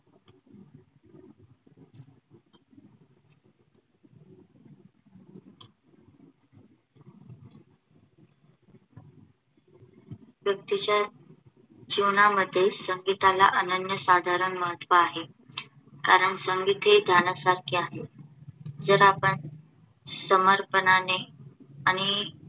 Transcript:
व्यक्तीच्या जीवनामध्ये संगीताला अनन्यसाधारण महत्त्व आहे. कारण संगीत हे ध्यानासारखे आहे जर आपण समर्पणाने आणि